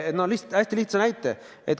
Toon hästi lihtsa näite.